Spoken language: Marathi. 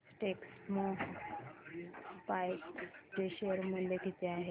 आज टेक्स्मोपाइप्स चे शेअर मूल्य किती आहे